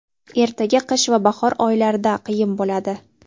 ertaga qish va bahor oylarida qiyin bo‘ladi.